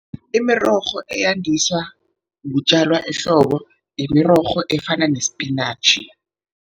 Imirorho eyandiswa kutjalwa ehlobo, imirorho efana nespinatjhi.